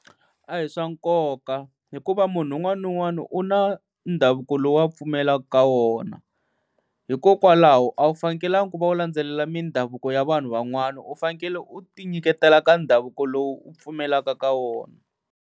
A hi swa nkoka hikuva munhu un'wana na un'wana u na ndhavuko lowu a pfumelaka ka wona. Hikokwalaho a wu fanekelanga ku va u landzelela mindhavuko ya vanhu van'wani, u fanekele u ti nyiketela ka ndhavuko lowu u pfumelaka ka wona.